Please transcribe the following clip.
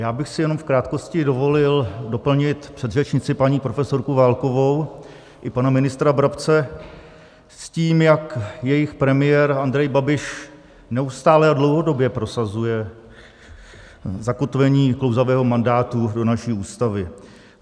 Já bych si jenom v krátkosti dovolil doplnit předřečnici, paní profesorku Válkovou, i pana ministra Brabce s tím, jak jejich premiér Andrej Babiš neustále a dlouhodobě prosazuje zakotvení klouzavého mandátu do naší Ústavy.